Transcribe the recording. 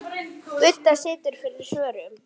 Budda situr fyrir svörum.